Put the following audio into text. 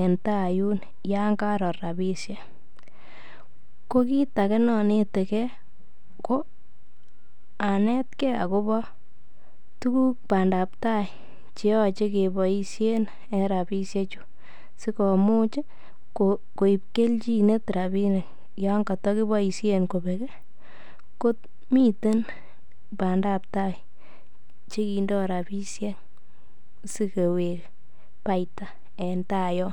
en tai yun yon karor rapishek ko kiit age nanetegei ko anetegei akobo tukuk badaptai cheyoche keboishen en rapishe chu sikomuch koib keljinet rapinik yon kotakeboishen kobek ko miten badaptai chekindoi rapishek sikowek paita en tai yo